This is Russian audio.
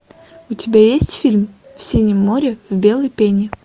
у тебя есть фильм в синем море в белой пене